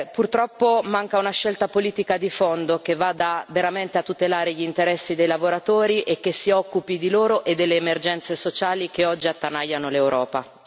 Purtroppo manca una scelta politica di fondo che vada veramente a tutelare gli interessi dei lavoratori e che si occupi di loro e delle emergenze sociali che oggi attanagliano l'Europa.